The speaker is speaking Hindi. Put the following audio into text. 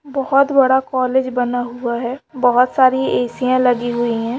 बहुत बड़ा कॉलेज बना हुआ है बहुत सारी ऐ.सी. -यां लगी हुई है।